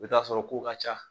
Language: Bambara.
U bɛ t'a sɔrɔ kow ka ca.